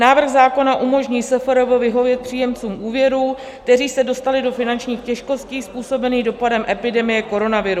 Návrh zákona umožní SFRB vyhovět příjemcům úvěrů, kteří se dostali do finančních těžkostí způsobených dopadem epidemie koronaviru.